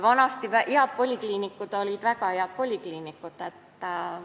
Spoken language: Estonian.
Head polikliinikud olid vanasti väga head polikliinikud.